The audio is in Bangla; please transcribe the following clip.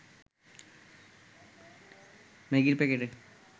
ম্যাগির প্যাকেটে